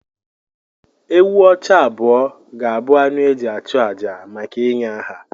Ewù ọcha abụọ ga-abụ anụ e ji achụ àjà maka ịnye aha.